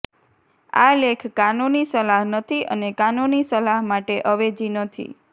આ લેખ કાનૂની સલાહ નથી અને કાનૂની સલાહ માટે અવેજી નથી